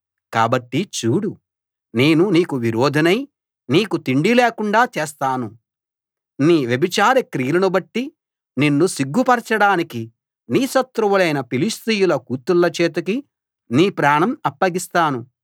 కాబట్టి చూడు నేను నీకు విరోధినై నీకు తిండి లేకుండా చేస్తాను నీ వ్యభిచార క్రియలనుబట్టి నిన్ను సిగ్గు పరచడానికి నీ శత్రువులైన ఫిలిష్తీయుల కూతుళ్ళ చేతికి నీ ప్రాణం అప్పగిస్తాను